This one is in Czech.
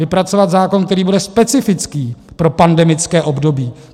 Vypracovat zákon, který bude specifický pro pandemické období.